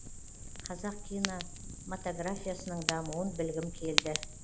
қазақ киномотографиясының дамуын білгім келді